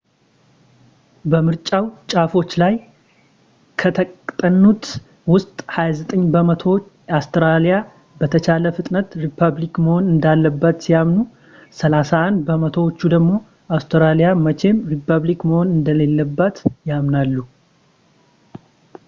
በምርጫው ጫፎች ላይ ከተጠኑት ውስጥ 29 በመቶዎቹ አውስትራሊያ በተቻለ ፍጥነት ሪፐብሊክ መሆን እንዳለባት ሲያምኑ 31 በመቶዎቹ ደግሞ አውስትራሊያ መቼም ሪፐብሊክ መሆን እንደሌለባት ያምናሉ